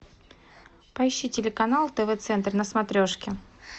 поищи телеканал тв центр на смотрешке